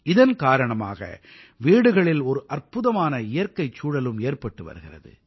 இதன் காரணமாக வீடுகளில் ஒரு அற்புதமான இயற்கைச் சூழலும் ஏற்பட்டு வருகிறது